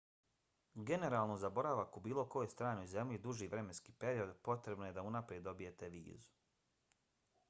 generalno za boravak u bilo kojoj stranoj zemlji duži vremenski period potrebno je da unaprijed dobijete vizu